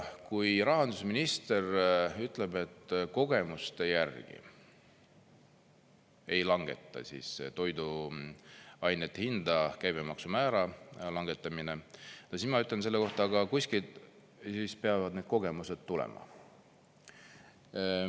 Kui rahandusminister ütleb, et kogemuste järgi ei langeta siis toiduainete hinda käibemaksumäära langetamine, siis ma ütlen selle kohta: aga kuskilt siis peavad need kogemused tulema.